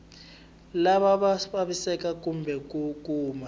lava vavisekaka kumbe ku kuma